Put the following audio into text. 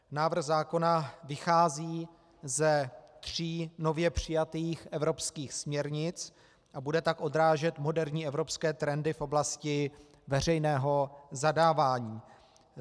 Návrh zákona vychází ze tří nově přijatých evropských směrnic a bude tak odrážet moderní evropské trendy v oblasti veřejného zadávání.